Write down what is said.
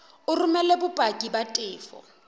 o romele bopaki ba tefo